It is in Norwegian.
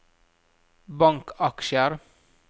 bankaksjer